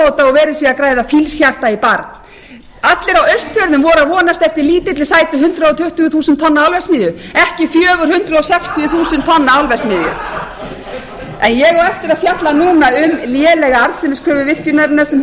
er ámóta og verið sé að græða fílshjarta í barn allir á austfjörðum voru að vonast eftir lítilli sætri hundrað tuttugu þúsund tonna álverksmiðju ekki fjögur hundruð sextíu þúsund tonna álverksmiðju en ég á eftir að fjalla núna um lélega arðsemiskröfu virkjunarinnar sem